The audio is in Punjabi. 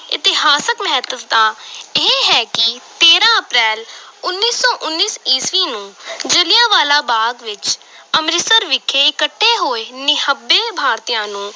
ਇਤਿਹਾਸਕ ਮਹੱਤਤਾ ਇਹ ਹੈ ਕਿ ਤੇਰਾਂ ਅਪ੍ਰੈਲ ਉੱਨੀ ਸੌ ਉੱਨੀ ਈਸਵੀ ਨੂੰ ਜਲਿਆਂਵਾਲਾ ਬਾਗ਼ ਅੰਮ੍ਰਿਤਸਰ ਵਿਖੇ ਇਕੱਠੇ ਹੋਏ ਨਿਹੱਬੇ ਭਾਰਤੀਆਂ ਨੂੰ